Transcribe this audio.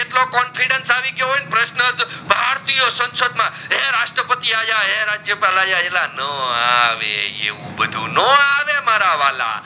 કેટલો confidence આવી ગયો હોઇ પ્રશ્નજ ભારતીય સાંસદ માં એ રસ્ત્રપતિ આ જ હે રાજયપાલ આયા ના આવે એવું બધુ નો આવે મારા વાહલા